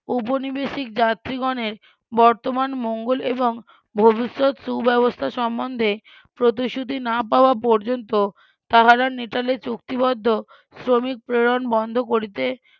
উপনিবেশিক যাত্রীগণের বর্তমান মঙ্গল এবং ভবিষ্যৎ সুব্যবস্থা সম্বন্ধে প্রতিশ্রুতি না পাওয়া পর্যন্তও তাহারা নেটালে চুক্তিবদ্ধ শ্রমিক প্রেরণ বন্ধ করিতে